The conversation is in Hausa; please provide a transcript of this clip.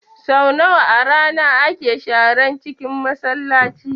Sau nawa a rana ake sharan cinkin Masallaci?